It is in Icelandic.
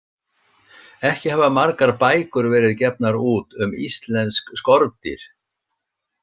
Ekki hafa margar bækur verið gefnar út um íslensk skordýr.